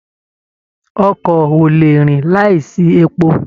Ọkọ o lè rìn láìsí epo.